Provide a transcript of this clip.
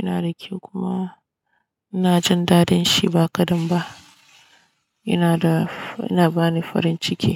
Ina da ke kuma ina jin dadin shi ba kadan ba. Ina da, ina bani farin ciki.